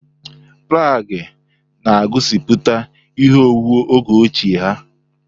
Praghe na-egosiputa ihe owuwu oge ochie ha.